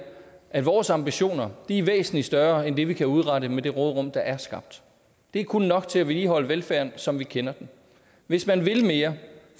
at vores ambitioner er væsentlig større end det vi kan udrette med det råderum der er skabt det er kun nok til at vedligeholde velfærden som vi kender den hvis man vil mere